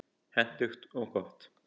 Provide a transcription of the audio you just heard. Hentugt og gott.